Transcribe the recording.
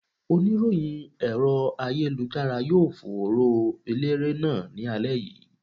Oníròyìn ẹ̀rọ ayélujára yóò fòòró Eléré náà ní alẹ́ yìí.